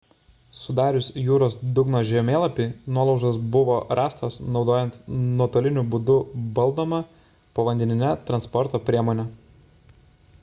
sudarius jūros dugno žemėlapį nuolaužos buvo rastos naudojant nuotoliniu būdu valdomą povandeninę transporto priemonę